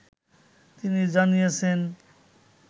তিনি জানিয়েছেন